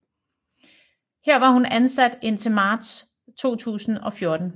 Her var hun ansat indtil marts 2014